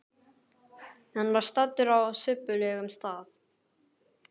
Hann var staddur á subbulegum stað.